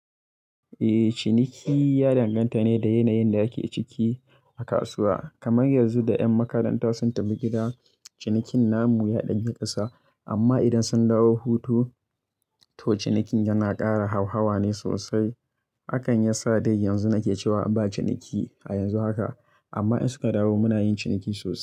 Eh, ciniki ya danganta ne da yanayin da ake ciki a kasuwa. Kamar yanzu da ƴan makaranta sun tafi gida, cinikin namu ya ɗan yi ƙasa, amma idan sun dawo hutu to cinikin yana ƙara hauhawa ne sosai. Hakan ya sa dai yanzu nake cewa ba ciniki a yanzu haka, amma in suka dawo muna yin ciniki sosai.